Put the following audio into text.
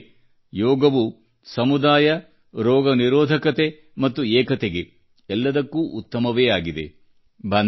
ನಿಜವೆಂದರೆ ಯೋಗವು ಸಮುದಾಯ ರೋಗನಿರೋಧಕತೆ ಮತ್ತು ಏಕತೆಗೆ ಎಲ್ಲದಕ್ಕೂ ಉತ್ತಮವೇ ಆಗಿದೆ